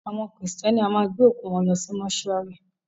Àwọn kírísítẹ́nì a máa gbé òkú wọn lọ sí Mósúarì